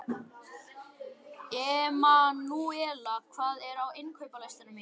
Emanúela, hvað er á innkaupalistanum mínum?